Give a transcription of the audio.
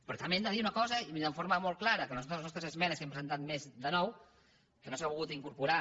però també hem de dir una cosa i de forma molt clara que a les nostres esmenes que n’hem presentat més de nou que no s’han volgut incorporar